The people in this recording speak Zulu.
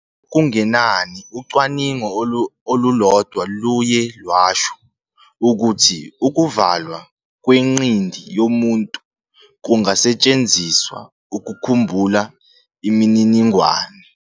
Okungenani ucwaningo olulodwa luye lwasho ukuthi ukuvalwa kwengqindi yomuntu kungasetshenziswa ukukhumbula imininingwane.